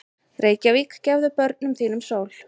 Reykjavík, gefðu börnum þínum sól!